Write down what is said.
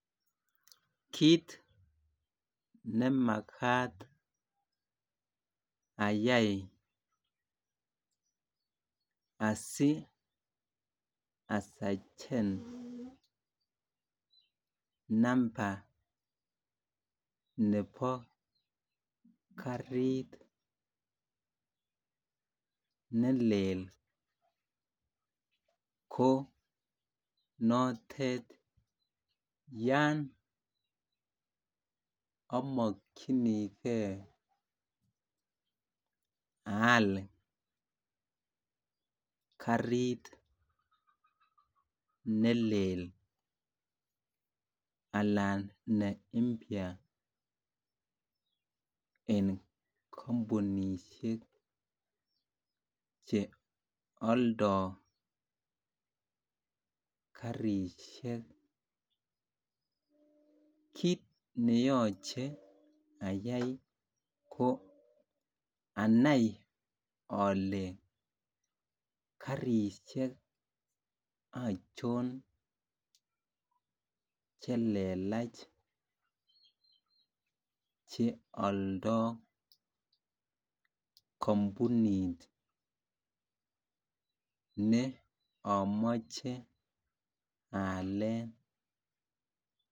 Kit nemakat ayai asi asachen Namba nebo karit nelel ko notet yon amokyingei aal karit ne lel Alan ne mpya en kampunisiek Che aldo karisiek kit ne yoche ayai ko anai ale karisiek achon Che lelach Che aldoi kampunit ne amoche aalen